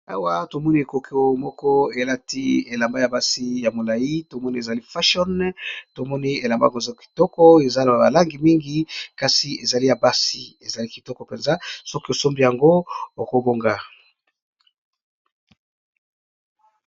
Awa tomoni ekoko moko elati elamba ya basi ya molai tomoni ezali fashion tomoni elamba koza kitoko ezaloa balangi mingi kasi ezali ya basi ezali kitoko mpenza soki osombi yango okobonga.